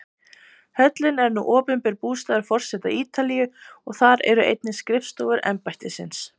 Höllin er nú opinber bústaður forseta Ítalíu og þar eru einnig skrifstofur embættisins.